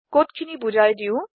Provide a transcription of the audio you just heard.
কোডখিনি বোজাই দিও